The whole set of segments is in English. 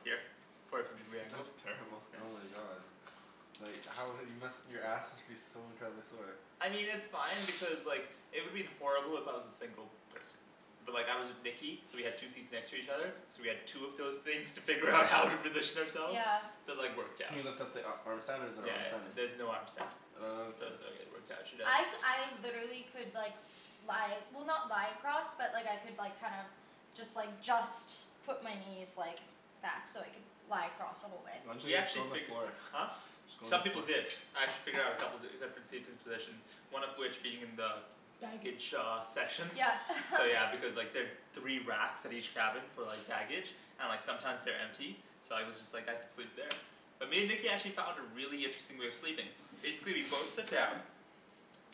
here. Forty five degree angles. That's terrible. Oh my god. Like how, you must, your ass must be so incredibly sore. I mean it's fine because like, it would have been horrible if I was a single person. But like I was with Nikki, so we had two seats next to each other. So we had two of those things to figure out how to position ourselves. Yeah. So like worked Can out. you lift up the a- arm stand, or is there an Yeah arm stand? there's no arm stand. Oh, So okay. it was like it worked out, I c- I literally could like lie, well not lie across, but like I could like kinda just like, just put my knees like back so I could lie across the whole way. Why didn't We you just actually go on the figu- floor? Huh? Just go on the Some people floor. did. I had to figure out a couple, different seating positions. One of which being in the baggage shaw sections. Yeah. So yeah because like there three racks at each cabin for like baggage and like sometimes they're empty. So I was just like, I could sleep there. But me and Nikki actually found a really interesting way of sleeping. Basically we'd both sit down.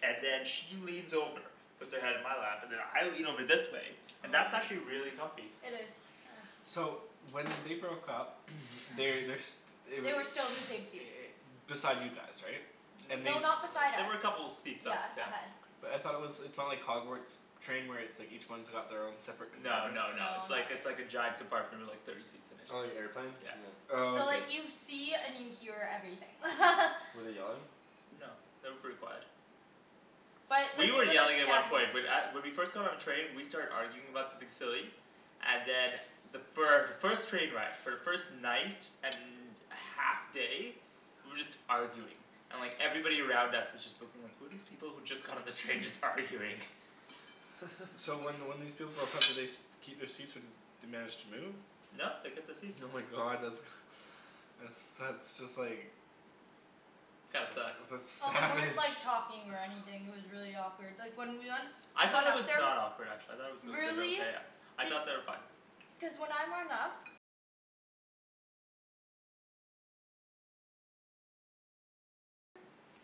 And then she leans over. Puts her head in my lap. And then I lean over this way. And that's actually really comfy. It is, yeah. So when they broke up, they, they're s- They were They were still in the same seats. beside you guys, right? And they No, s- N- not beside They us. were a couple of seats up, Yeah. yeah. Ahead. But I thought it was, it's not like Hogwarts train where it's like each one's got their own separate No compartment? no no, No, it's like not it's like a really. giant compartment with like thirty seats in it. Oh you airplaned? Yeah. Oh So okay. like you see and you hear everything. Were they yelling? No. They were pretty quiet. But, but You were they were like yelling at one standing point, but at- when we first got on the train we started arguing about something silly. And then the fir- the first train ride, for the first night and half day we were just arguing. And like, everybody around us was just looking like, who are these people who just got on the train just arguing? So when when these people broke up, did they st- keep their seats or they managed to move? No they kept the seats. Oh my god, that's that's that's just like That sucks. that's Well, they savage. weren't like talking or anything, it was really awkward. Like when we went I thought it was not awkward actually. I thought it was mid- Really? okay. I Be- thought they were fine. Cuz when I went up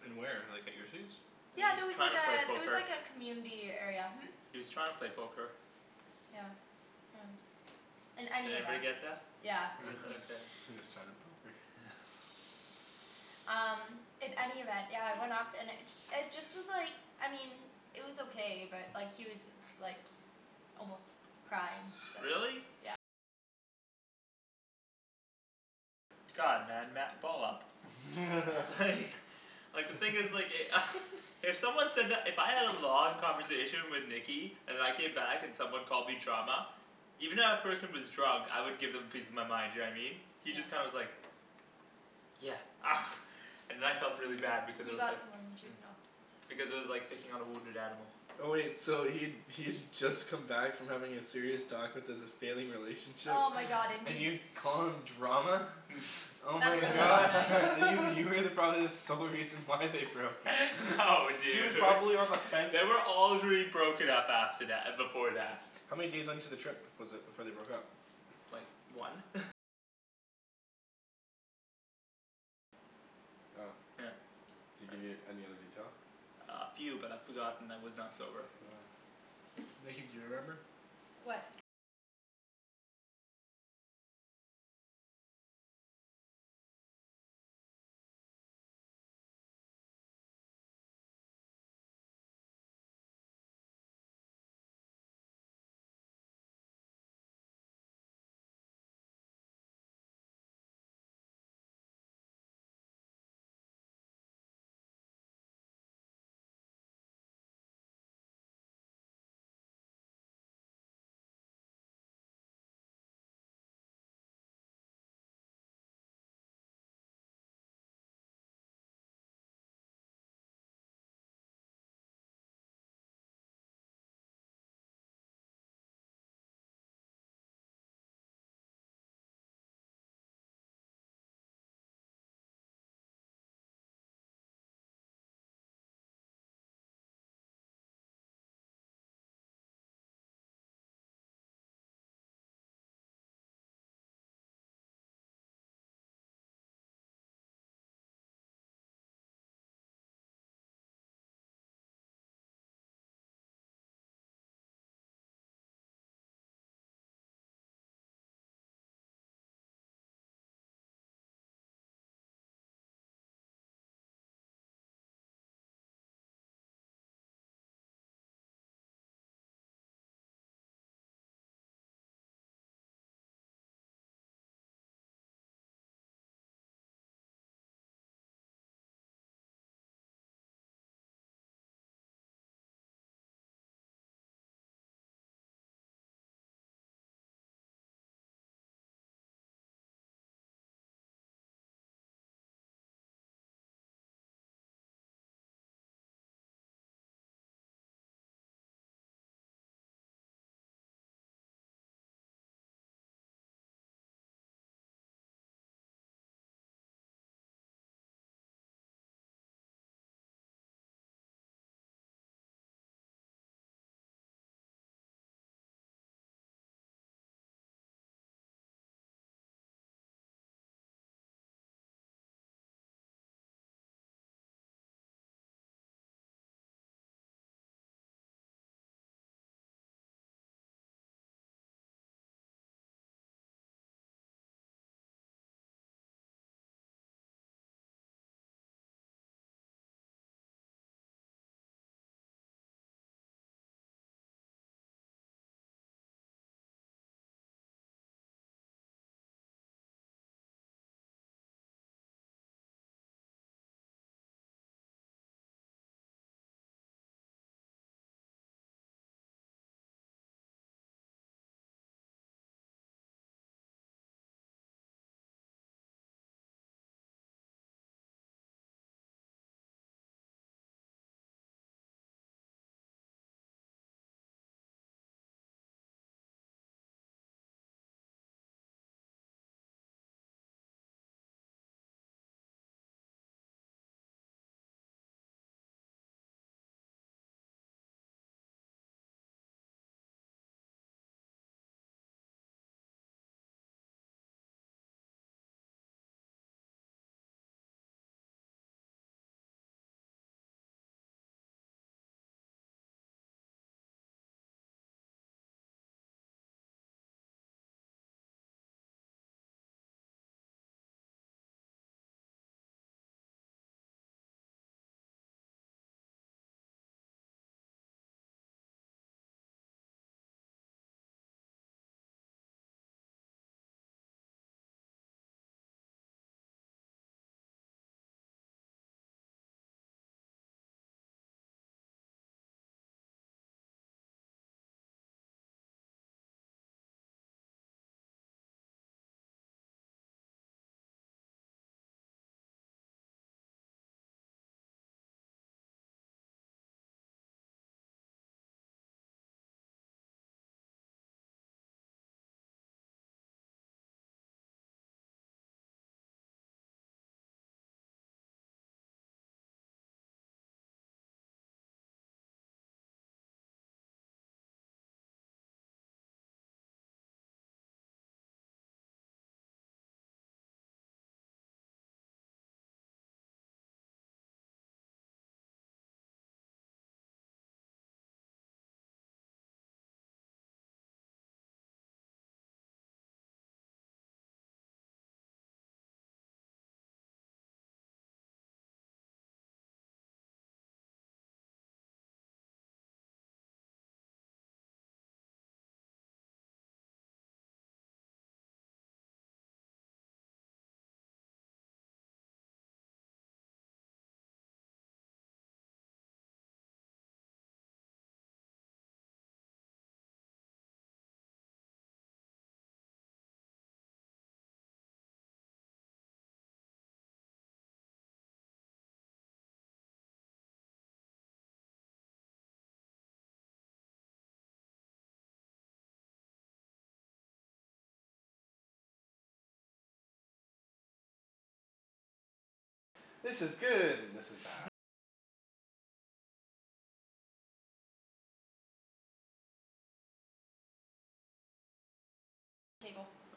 In where, like at your seats? He Yeah was there was trying like to a, play there was poker. like a community area, hm? He was trying to play poker. Yeah. Yeah. In Did any everybody event. get that? Yeah. You got that up there. He was trying to poke her. Um, in any event, yeah it went off, and it ju- it just was like, I mean it was okay but like he was like almost crying, so Really? God, man, ma- ball up. Like Like the thing is like e- If someone said that, if I had a long conversation with Nikki and I came back and someone called me drama even if that person was drunk, I would give them a piece of my mind, you know what I mean? He just kinda was like "Yeah." And then I felt really bad because I You was got like some on your tooth now. because it was like picking on a wounded animal. Oh wait, so he'd he'd just come back from having a serious talk with his failing relationship, Oh my god and and you you call him drama? Oh That's my really not god. nice. You were probably the sole reason why they broke up. No She was dude. probably on the fence. They were already broken up after tha- before that. How many days into the trip was it before they broke up? Like one? Oh. Yeah. Did he give you any other detail? Uh a few but I forgot and I was not sober. Oh. Nikki, do you remember? What?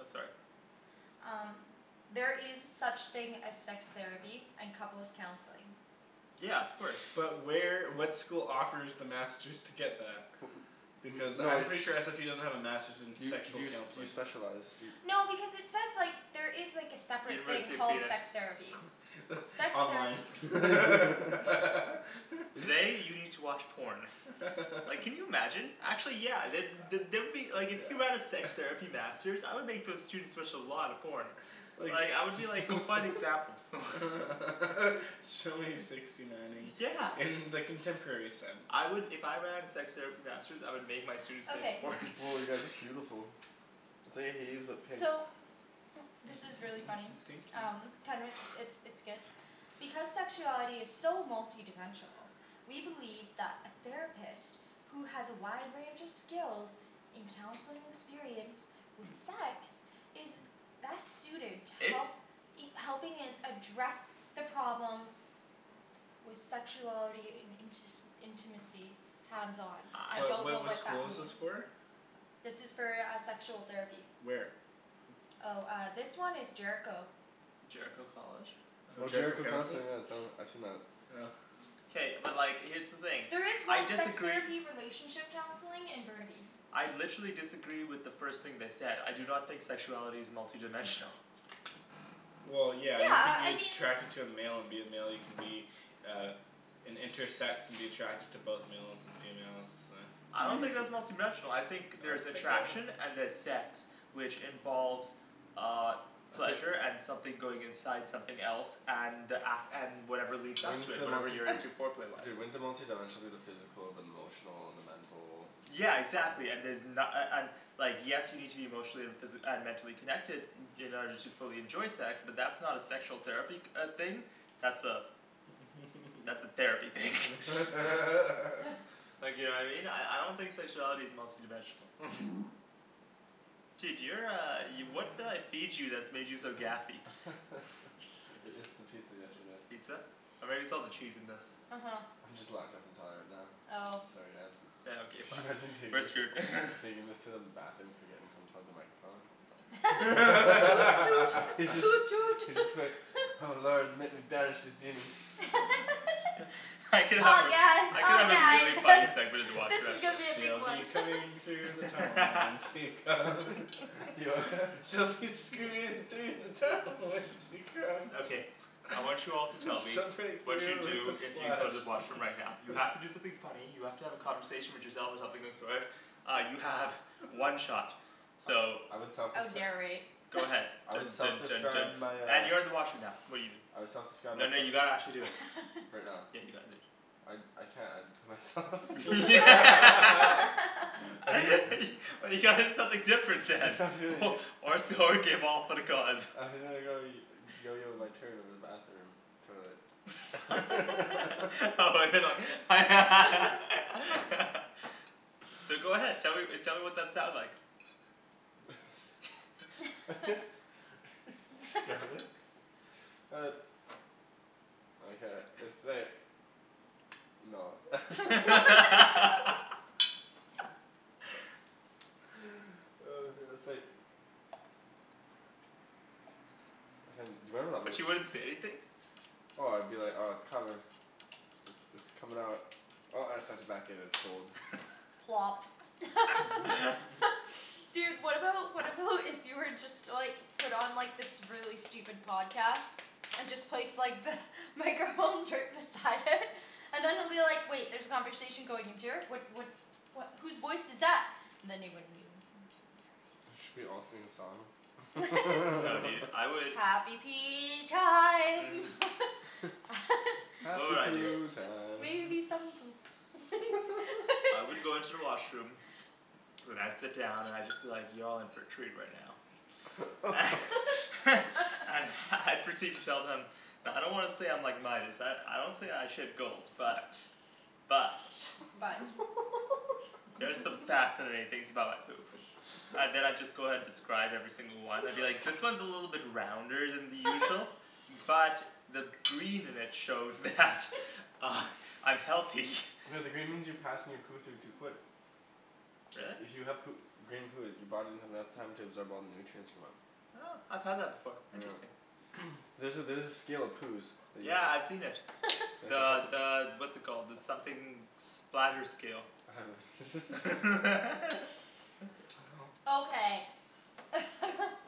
Oh sorry. Um There is such thing as sex therapy and couples' counseling. Yeah, of course. But where, what school offers the masters to get that? Because No, I'm it's pretty sure SFU doesn't have a masters in You sexual you you counseling. specialize, you No, because it says like, there is like a separate thing University of called penis. sex therapy. Sex Online. therapy. Today you need to watch porn. Like can you imagine? Actually yeah, the- the- there would be, like if you have a sex Yeah. therapy masters, I would make those students watch a lot of porn. Like Like I would be like, go find examples. Show me sixty nineing Yeah. in the contemporary sense. I would, if I ran a sex therapy masters, I would make my students make a Okay. porn. Woah you guys, that's beautiful. pink. So this is really funny. Pink you. Um it's it's good. Because sexuality is so multidimensional we believe that a therapist who has a wide range of skills in counseling experience with sex is best suited to It's help helping in address the problems with sexuality in intis- intimacy. Hands on. I I What don't what know what what that school is this mean. for? This is for uh sexual therapy. Where? Oh uh this one is Jericho. Jericho College? No, Oh Jericho Jericho Counseling. Counseling, yeah it's done, I've seen that. Oh. K, but like here's the thing. There is I one sex disagree therapy relationship counseling in Burnaby. I literally disagree with the first thing they said. I do not think sexuality is multidimensional. Well yeah, Yeah you could uh be I mean attracted to a male and be a male, you can be uh an intersex and be attracted to both males and females, uh I don't think that's multidimensional. I think there's attraction and there's sex. Which involves uh Okay pleasure and something going inside something else, and ac- and whatever leads up to Wouldn't it, the whatever multi- you're into foreplay-wise. Dude, wouldn't the multidimensional be the physical, the emotional, and the mental Yeah exactly and there's na- a- an- Like yes you need to be emotionally and physi- uh mentally connected in order to fully enjoy sex, but that's not a sexual therapy uh thing. That's a that's a therapy thing. Like you know what I mean? I I don't think sexuality is multi dimensional. Dude you're uh, y- what did I feed you that made you so gassy? I- it's the pizza yesterday. Pizza? Or maybe it's all the cheese in this. Uh huh. I'm just lactose intolerant now. Oh. Sorry guys. Yeah okay fine, Imagine taking taking this to the bathroom forgetting to unplug the microphone. Toot toot toot toot. Just be like "Oh lord let me banish these demons." I could help Oh you. yes I could oh have a yeah really it's funny segment in the this washroom is actually. gonna be a big She'll be one. coming through the tunnel when she comes. She'll be screaming through the tunnel when she comes. Okay. I want you all to tell me Some break what you'd through do with a if you splash. go to the washroom right now. You have to do something funny, you have to have a conversation with yourself or something of the sort Uh you have one shot. So I would I would self-descri- narrate. Go ahead. I would Dun dun dun self-describe dun my uh and you're in the washroom now I would self-describe Then myse- you gotta actually do it. Right now? Yeah you gotta do it. I I can't, I'd put myself You gotta do something different then. Or so you gave all for the cause. my turn over the bathroom. Toilet. Oh but they're like So go ahead. Tell me tell me what that sounds like. It's Uh No. Hey, do you remember that But you one wouldn't say anything? Oh I'd be like, oh it's coming. It's it's it's coming out. Oh I have such a Plop. Dude, what about, what about if you were just to like put on this really stupid podcast? And just place like the microphones right beside it. And then they'll be like "Wait there's a conversation going into here, what what" "what, whose voice is that?" And then they wouldn't know. Should we all sing a song? No dude, I would Happy pee time. You know Happy what I'd do poo time. Maybe some poop. I would go into the washroom then I'd sit down and I'd just be like, "Y'all in for a treat right now." And I'd proceed to tell them "I don't wanna say I'm like Midas, I I don't say I shit gold. But, but, But there's some fascinating things about my poop. And then I'd just go ahead describe every single one, I'd be like "This one is a little bit rounder than the usual." "But the green in it shows that I'm healthy." No the green means you're passing your poo through too quick. Really? If you have poo- green poo, your body doesn't have enough time to absorb all the nutrients from it. Huh, I've had that before. Yeah. Interesting. There's a there's a scale of poos that you Yeah, I've seen c- it. The the what's it called, the something splatter scale. Okay.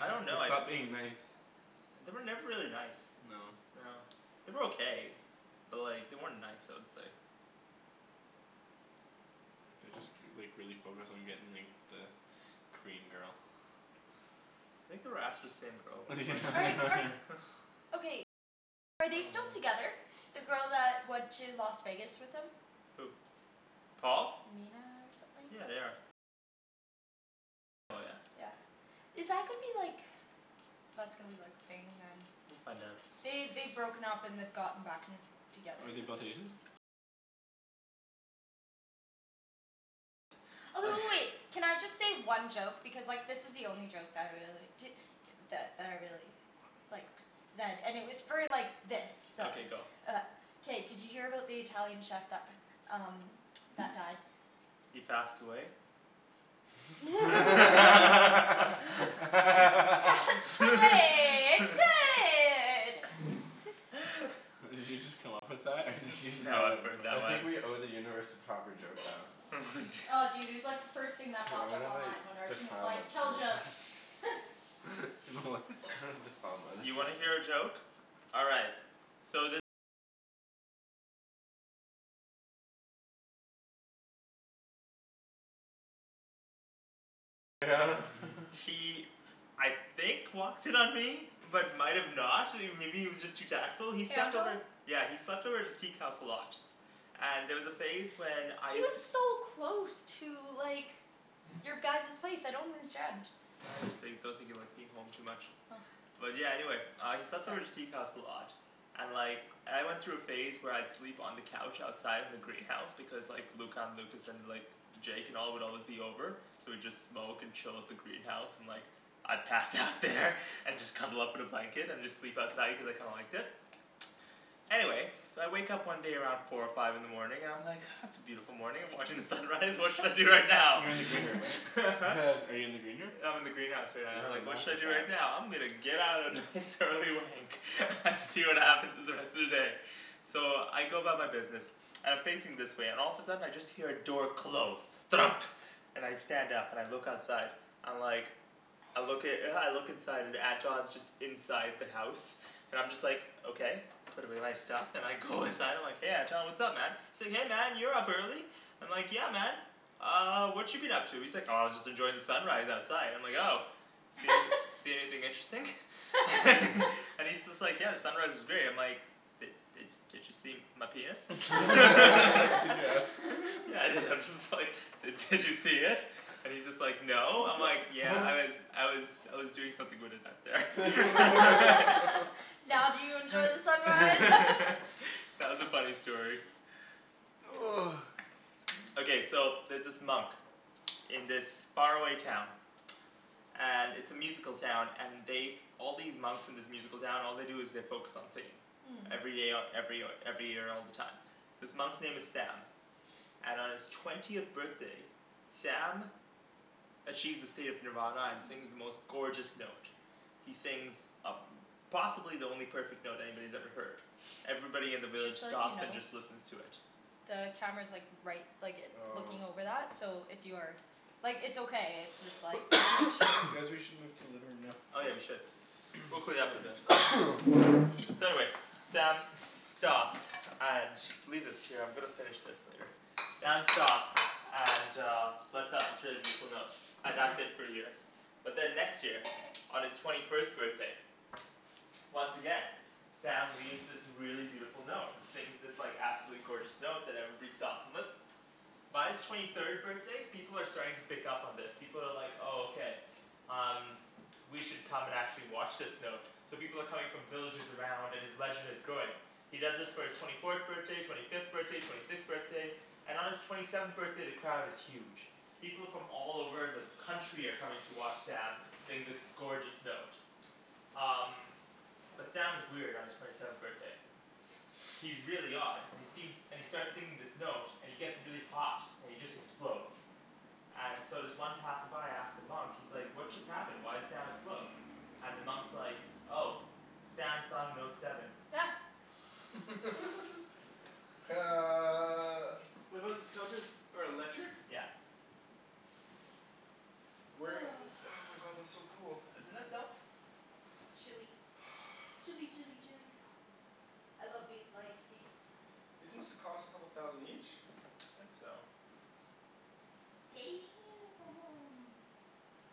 I don't They know, I'd stopped being nice. They were never really nice. No. No. They were okay. But like they weren't nice I would say. They just k- like really focused on getting like the Korean girl. Think they were after the same girl at one point. Are they still together? The girl that went to Las Vegas with them? Who? Paul? Mina or something? Yeah, they are. Yeah. Is that gonna be like That's gonna be like thing then. We'll find out. They, they'd broken up and they'd gotten back and together. Are they both Asian? Oh w- w- wait. Can I just say one joke? Because like this is the only joke that I really, di- that that I really like zed, and it was for like this, so Okay go. Uh K, did you hear about the Italian chef that p- um that died? He passed away? Pasta way. It's good! Did you just come up with that or did you just No, I've know heard that I one. think we owe the universe a proper joke now. Oh dude, it was like the first thing that Dude I'm popped up gonna like, online when Arjan was defile like, my "Tell jokes." You know what? Defile mine. You wanna hear a joke? All right. He I think walked in on me. But might have not. I mean maybe he was just too tactful. He slept Anton? over Yeah, he slept over at the teak house a lot. And there was a phase when I He used was to so close to like your guys's place, I don't understand. I just think, I don't think he liked being home too much. Oh. But yeah, anyway. He slept over at the teak house a lot. And like I went through a phase where I'd sleep on the couch outside in the greenhouse, because like Luca and Lucas and like Jake and all would always be over. So we'd just smoke and chill at the greenhouse, and like I'd pass out there and just cuddle up in a blanket and just sleep outside cuz I kinda liked it. Anyway So I wake up one day around four or five in the morning, and I'm like "Ah it's a beautiful morning, I'm watching the sunrise, what should I do right now?" You're in the green room, right? Are you in the green room? I'm in the greenhouse right now. I'm Have a like "What should master I do fap. right now? I'm gonna get out a nice early wank and see what happens in the rest of the day." So I go about my business. And I'm facing this way, and all of a sudden I just hear a door close. Thunk. And I stand up and I look outside. I'm like I look i- I look inside, and Anton's just inside the house. I'm just like, okay. Put away my stuff and I go inside, I'm like "Hey Anton, what's up man?" Say "Hey man, you're up early." I'm like, "Yeah man." "Uh what you been up to?" He's like "Oh just enjoying the sunrise outside." I'm like "Oh." "See anyth- see anything interesting?" And he's just like, "Yeah, the sunrise was great." And I'm like "Did did did you see my penis?" Did you ask "Yeah I did." I'm just like "Did did you see it?" And he's just like "No." I'm like "Yeah, I was I was I was doing something with it out there." Now do you enjoy the sunrise? That was a funny story. Okay, so there's this monk in this far away town. And it's a musical town, and they've All these monks in this musical town, all they do is they focus on singing. Mmm. Every day, o- every o- every year all the time. This monk's name is Sam. And on his twentieth birthday Sam achieves a state of nirvana and sings the most gorgeous note. He sings a- possibly the only perfect note anybody's ever heard. Everybody in the village Just to let you stops and know just listens to it. the camera's like right, like it, Oh. looking over that, so if you are Like it's okay, it's just like Guys we should move to the living room now. Oh yeah we should. We'll clean it up eventually. So anyway. Sam stops. And, leave this here, I'm gonna finish this later. Sam stops and uh And that's it for a year. But then next year, on his twenty first birthday once again Sam leaves this really beautiful note, and sings this like absolutely gorgeous note that everybody stops and listens. By his twenty third birthday, people are starting to pick up on this. People are like "Oh okay, um, we should come and actually watch this note." So people are coming from villages around, and his legend is growing. He does this for his twenty fourth birthday, twenty fifth birthday, twenty sixth birthday. And on his twenty seventh birthday the crowd is huge. People from all over the country are coming to watch Sam sing this gorgeous note. Um But Sam is weird on his twenty seventh birthday. He's really odd, and he seems, and he starts singing this note, and he gets really hot, and he just explodes. And so this one passerby asks the monk, he's like "What just happened? Why'd Sam explode?" And the monk's like, "Oh. Sam sung note seven." these couches are electric? Yeah. Where, oh my god, that's so cool. Isn't it though? It's chilly. Chilly chilly chilly. I love these like seats. These must have cost a couple thousand each. I think so.